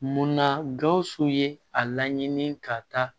Munna gawusu ye a laɲini ka taa